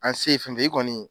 An sen ye fɛn fɛn ye i kɔni